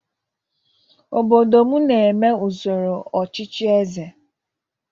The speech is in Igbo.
Obodo m na-eme usoro ọchịchị eze.